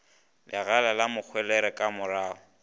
legala la mohwelere ka marago